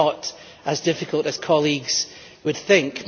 In fact, I would suggest it is not as difficult as colleagues would think.